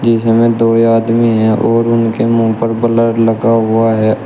इसमें दो आदमी हैं और उनके मुंह पर ब्लर लगा हुआ है।